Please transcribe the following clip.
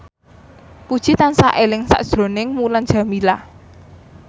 Puji tansah eling sakjroning Mulan Jameela